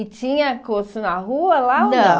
E tinha curso na rua lá ou não? Não